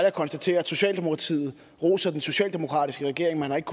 at konstatere at socialdemokratiet roser den socialdemokratiske regering man har ikke